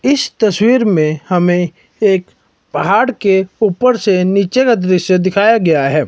इस तस्वीर में हमें एक पहाड़ के ऊपर से नीचे का दृश्य दिखाया गया है।